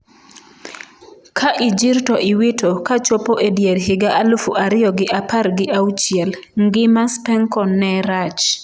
Ka ijir to iwito' kachopo e dier higa aluf ariyo gi apar gi auchiel, ngima Spencon ne rach.